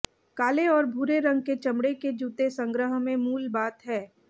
काले और भूरे रंग के चमड़े के जूते संग्रह में मूल बात हैं